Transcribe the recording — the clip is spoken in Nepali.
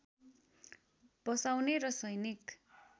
बसाउने र सैनिक